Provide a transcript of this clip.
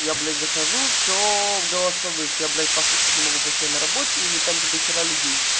я блять захожу всё в голосовых я блять послушать не могу потому что я на работе или там где дохера людей